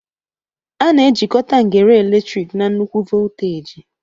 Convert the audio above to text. A na-ejikọta ngere eletrik na nnukwu voltaji